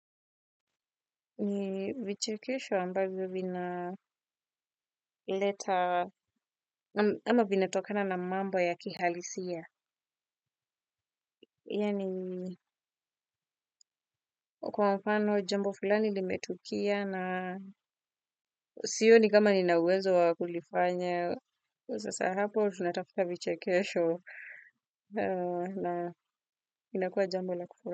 Ni vichekesho ambavyo vina leta ama vinatokana na mambo ya kihalisia. Ila ni kwa mfano jambo flani limetukia na sioni kama nina uwezo wa kulifanye. Kwa sasa hapo tunatafuta vichekesho na inakua jambo la kufu.